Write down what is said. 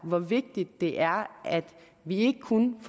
hvor vigtigt det er at vi ikke kun